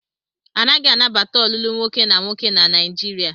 A naghi anabata olulu nwoke na nwoke na Naijiria.